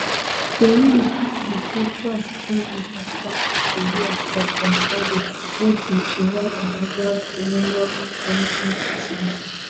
tori be say trump bin dey consider a us strike on fordo wey be iran underground uranium enrichment facility